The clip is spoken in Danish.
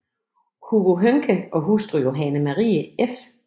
Hugo Høncke og hustru Johanne Marie f